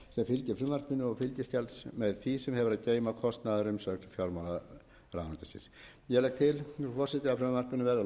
sem hefur að geyma kostnaðarumsögn fjármálaráðuneytisins ég legg til frú forseti að frumvarpinu verði að lokinni þessari umræðu vísað